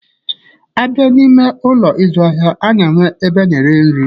A bịa n'ime Ụlọ ịzụ ahịa, a na-enwe ebe a na-eri nri.